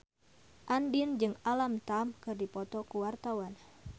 Andien jeung Alam Tam keur dipoto ku wartawan